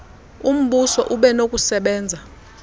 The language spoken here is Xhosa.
umbuso ube nokusebenza